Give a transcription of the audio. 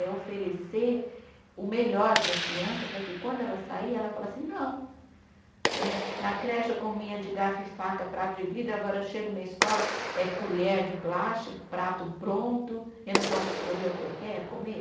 É oferecer o melhor para a criança, para que quando ela sair, ela fale assim, não né, na creche eu comia de garfo e faca, prato de vidro, agora eu chego na escola, é colher de plástico, prato pronto, eu não posso escolher o que eu quero comer?